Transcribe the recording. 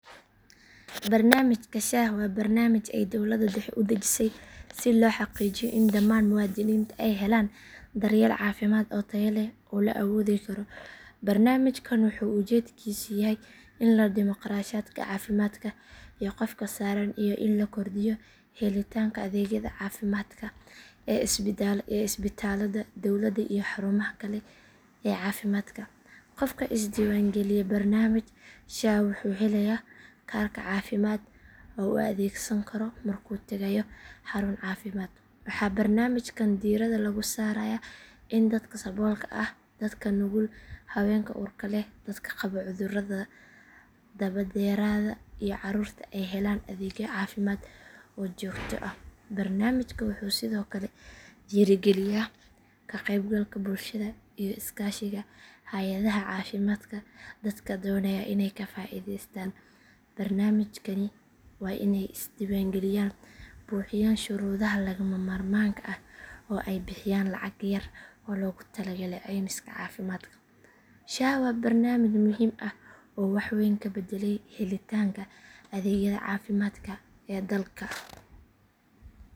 Barnaamijka sha waa barnaamij ay dowladda dhexe u dejisay si loo xaqiijiyo in dhammaan muwaadiniinta ay helaan daryeel caafimaad oo tayo leh oo la awoodi karo. Barnaamijkan wuxuu ujeedkiisu yahay in la dhimo kharashaadka caafimaadka ee qofka saaran iyo in la kordhiyo helitaanka adeegyada caafimaadka ee isbitaallada dowladda iyo xarumaha kale ee caafimaadka. Qofka isdiiwaangeliya barnaamijka sha wuxuu helayaa kaarka caafimaad oo uu adeegsan karo markuu tagayo xarun caafimaad. Waxaa barnaamijkan diiradda lagu saarayaa in dadka saboolka ah, dadka nugul, haweenka uurka leh, dadka qaba cudurrada daba dheeraada iyo carruurta ay helaan adeegyo caafimaad oo joogto ah. Barnaamijka wuxuu sidoo kale dhiirrigeliyaa ka qaybgalka bulshada iyo iskaashiga hay’adaha caafimaadka. Dadka doonaya inay ka faa’iidaystaan barnaamijkan waa inay iska diiwaangeliyaan, buuxiyaan shuruudaha lagama maarmaanka ah oo ay bixiyaan lacag yar oo loogu talagalay caymiska caafimaadka. Sha waa barnaamij muhiim ah oo wax weyn ka beddelay helitaanka adeegyada caafimaadka ee dalka.